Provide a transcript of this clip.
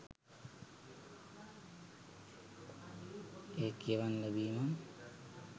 ඒක කියවන්න ලැබීමත්